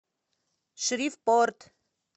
шривпорт